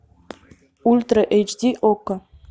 ультра эйч ди окко